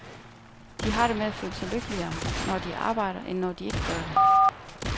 De har det med at føle sig lykkeligere, når de arbejder, end når de ikke gør det.